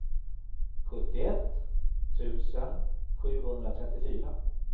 sjuttioett tusen sjuhundratrettiofyra